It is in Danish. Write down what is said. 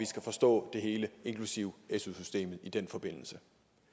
skal forstå det hele inklusive su systemet i den forbindelse